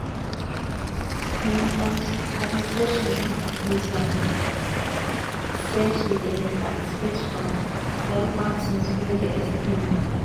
im administration don accuse her say she dey participate for radical things wey dey extreme